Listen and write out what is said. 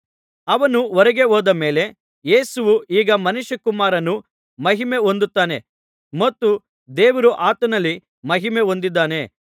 ಅವನು ಹೊರಗೆ ಹೋದ ಮೇಲೆ ಯೇಸುವು ಈಗ ಮನುಷ್ಯಕುಮಾರನು ಮಹಿಮೆ ಹೊಂದುತ್ತಾನೆ ಮತ್ತು ದೇವರು ಆತನಲ್ಲಿ ಮಹಿಮೆ ಹೊಂದಿದ್ದಾನೆ